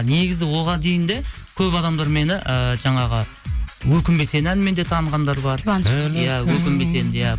негізі оған дейін де көп адамдар мені ыыы жаңағы өкінбе сен әнімен де танығандар да бар иә өкінбе сен иә